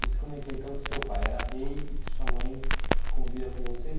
Você comentou então que seu pai era rei e que sua mãe convivia com vocês.